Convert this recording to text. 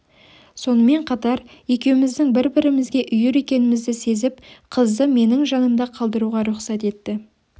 сонымен қатар екеуіміздің бір-бірімізге үйір екенімізді сезіп қызды менің жанымда қалдыруға рұқсат етті